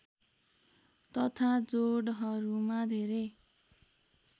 तथा जोडहरूमा धेरै